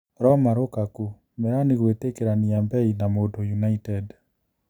Roma Rukaku: Mĩrani gũĩtikĩrania mbei na Mũndũ United